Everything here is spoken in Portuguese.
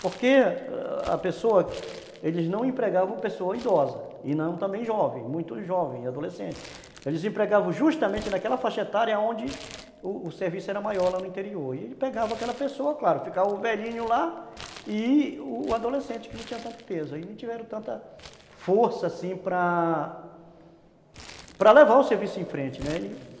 porque a pessoa, eles não empregavam a pessoa idosa e não também jovem, muito jovem, adolescente, eles empregavam justamente naquela faixa etária onde o o serviço era maior lá no interior e ele pegava aquela pessoa, claro, ficava o velhinho lá e o adolescente que não tinha tanto peso, eles não tiveram tanta força assim para para levar o serviço em frente, né? Uhum.